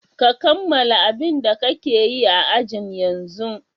Ka kammala abin da kake yi a ajin yanzun!